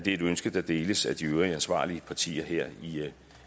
et ønske der deles af de øvrige ansvarlige partier her